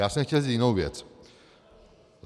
Já jsem chtěl říct jinou věc.